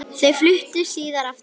Þau fluttu síðar aftur heim.